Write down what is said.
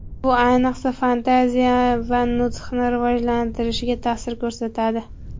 Bu, ayniqsa, fantaziya va nutqni rivojlanishiga ta’sir ko‘rsatadi.